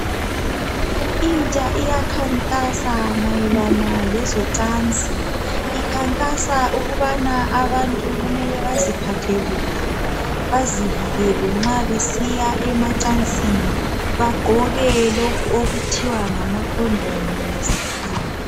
Intsha iyakhankasa mayelana lezocansi ikhankasa ukubana abantu kumele baziphathe kuhle bazivikele nxa besiya emacansini, bagqoke lokhu okuthiwa ngamakhondomu ngesikhiwa.